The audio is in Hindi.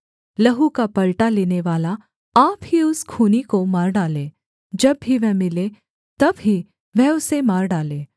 लहू का पलटा लेनेवाला आपकी उस खूनी को मार डाले जब भी वह मिले तब ही वह उसे मार डाले